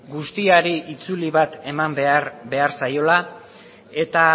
guztiari itzuli bat eman behar zaiola eta